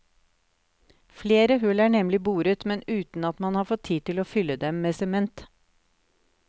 Flere hull er nemlig boret, men uten at man har fått tid til å fylle dem med sement.